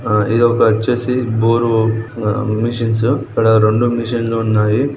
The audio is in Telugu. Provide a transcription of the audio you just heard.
ఆ ఇదొక వచ్చేసి బోరు ఆ మిషన్స్ . ఇక్కడ రెండు మిషన్స్ లు ఉన్నాయి.